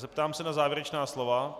Zeptám se na závěrečná slova.